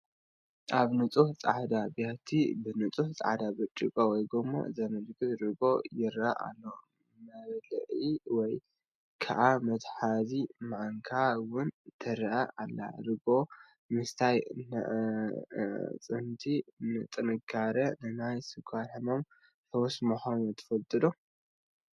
ኣብ ንፁህ ፃዕዳ ብያቲ ብንፁህ ፃዕዳ ብርጭቆ ወይ ጎማ ዝመልአ ርጎኦ ይረአ ኣሎ፡፡ መብልዒ ወይ ከዓ መትሓዚ ማንካ ውን ትረአ ኣላ፡፡ ርግኦ ምስታይ ንኣዕፅምቲ ጥንካረን ንናይ ስኳር ሕማም ፈውስን ምዃኑን ትፈልጡ ዶ?